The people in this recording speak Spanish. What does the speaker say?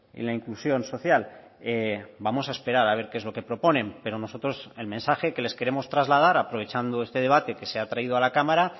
en la inclusión social vamos a esperar a ver qué es lo que proponen pero nosotros el mensaje que les queremos trasladar aprovechando este debate que se ha traído a la cámara